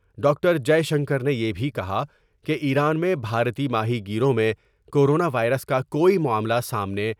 doctor Jaishankar نے یہ بھی کہا کہ ایران میں بھارتی ماہی گیروں میں کورونا وائرس کا کوئی معاملہ سامنے